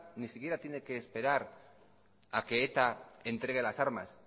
ni siquiera tiene que esperar a que eta entregue las armas